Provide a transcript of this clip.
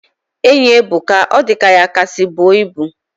Enyi ebuka. Odika ya kasi bu ibu